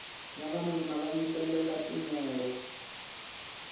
vavanuna va yimbelela tinoro